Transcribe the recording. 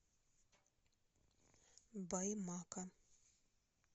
баймака